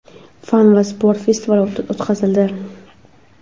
fan va sport festivali o‘tkazildi.